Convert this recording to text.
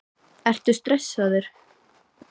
Ertu stressaður?